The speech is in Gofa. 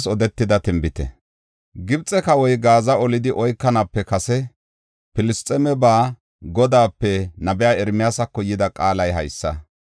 Gibxe kawoy Gaaza olidi oykanaape kase, Filisxeemeba Godaape nabiya Ermiyaasako yida qaalay haysa: